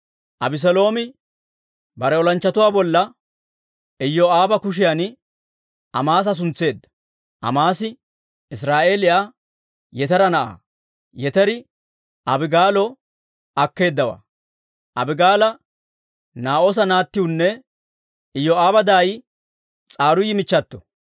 Abeseeloomi bare olanchchatuu bolla Iyoo'aaba kotan Amaasa suntseedda. Amaasi Israa'eeliyaa Yetera na'aa; Yeteri Abigaalo akkeedaawaa; Abigaala Naa'oosa naatiwune Iyoo'aaba daay S'aruuyi michchato.